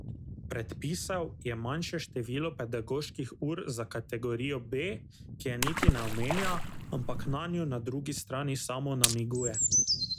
Predpisal je manjše število pedagoških ur za kategorijo B, ki je niti ne omenja, ampak nanjo na drugi strani samo namiguje.